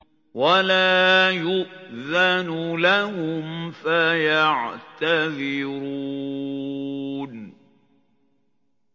وَلَا يُؤْذَنُ لَهُمْ فَيَعْتَذِرُونَ